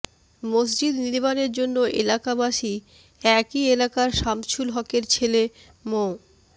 মসজিদ নির্মানের জন্য এলাকাবাসী একই এলাকার শামছুল হকের ছেলে মো